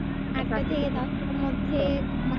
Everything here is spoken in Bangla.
দশটার মধ্যে